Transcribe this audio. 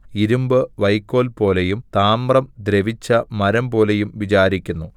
ഇരുമ്പ് വൈക്കോൽപോലെയും താമ്രം ദ്രവിച്ച മരംപോലെയും വിചാരിക്കുന്നു